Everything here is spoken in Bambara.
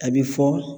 A bɛ fɔ